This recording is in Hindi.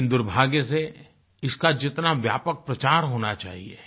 लेकिन दुर्भाग्य से इसका जितना व्यापक प्रचार होना चाहिए